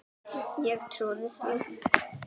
Ég trúði því.